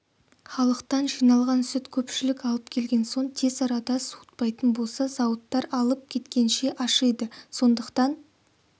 халықтан жиналған сүт көпшілік алып келген соң тез арада суытпайтын болса зауыттар алып кеткенше ашиды сондықтан